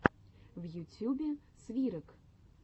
в ютьюбе свирок